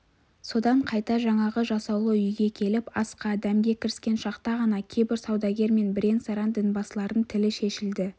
содан қайта жаңағы жасаулы үйге келіп асқа-дәмге кіріскен шақта ғана кейбір саудагер мен бірен-саран дінбасылардың тілі шешілді